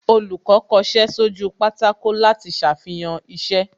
Olùkọ́ kọṣẹ́ sójú pátákó láti ṣàfihàn iṣẹ́